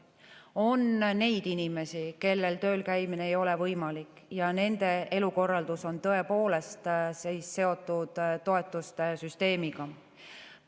On neid inimesi, kellel tööl käimine ei ole võimalik, ja nende elukorraldus on tõepoolest seotud toetuste süsteemiga.